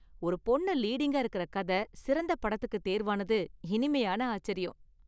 ஒரு பொண்ணு லீடிங்கா இருக்கற கதை சிறந்த படத்திற்கு தேர்வானது இனிமையான ஆச்சரியம்.